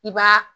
I b'a